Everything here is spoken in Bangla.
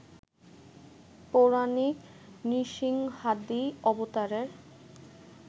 পৌরাণিক নৃসিংহাদি অবতারের